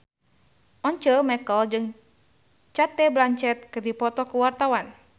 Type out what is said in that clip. Once Mekel jeung Cate Blanchett keur dipoto ku wartawan